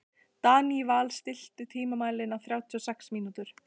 Daníval, stilltu tímamælinn á þrjátíu og sex mínútur.